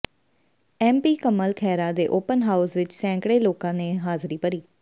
M P Kamal Khaira ਦੇ open house ਵਿੱਚ ਸੈਂਕੜੇ ਲੋਕਾਂ ਨੇ ਹਾਜ਼ਰੀ ਭਰੀ